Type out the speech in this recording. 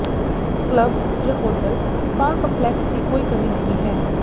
club ਜ hotel spa complex ਦੀ ਕੋਈ ਕਮੀ ਨਹੀ ਹੈ